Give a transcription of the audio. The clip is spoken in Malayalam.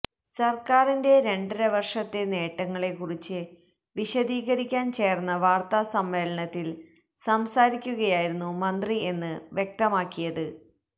സർക്കാരിന്റെ രണ്ടര വർഷത്തെ നേട്ടങ്ങളെ കുറിച്ച് വിശദീകരിക്കാൻ ചേർന്ന വാർത്താസമ്മേളനത്തിൽ സംസാരിക്കുകയായിരുന്നു മന്ത്രി എന്ന് വ്യക്തമാക്കിയത്